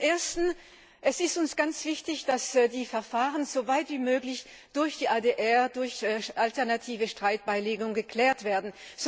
Zum Ersten Es ist uns ganz wichtig, dass die Verfahren so weit wie möglich durch ADR, durch alternative Streitbeilegung, geklärt werden.